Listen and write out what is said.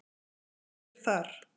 Hver er þar?